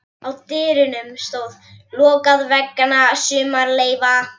Á dyrunum stóð: LOKAÐ VEGNA SUMARLEYFA.